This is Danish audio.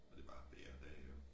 Og det bare hver dag jo